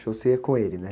Show você ia com ele, né?